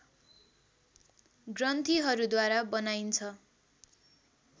ग्रन्थिहरूद्वारा बनाइन्छ